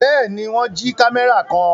Bẹ́ẹ̀ ni, wọ́n jí kámẹ́rà kan.